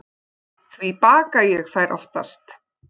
Því baka ég þær oftast.